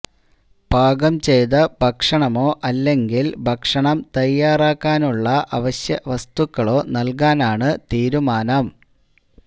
പാകം ചെയ്ത ഭക്ഷണമോ അല്ലെങ്കില് ഭക്ഷണം തയ്യാറാക്കാനുള്ള അവശ്യ വസ്തുക്കളോ നല്കാനാണ് തീരുമാനം